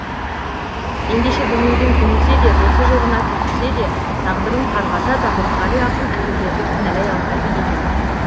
ендеше дүниеден түңілсе де досы жоғына күйінсе де тағдырын қарғаса да мұқағали ақын әйелдерді кіналай алмайды екен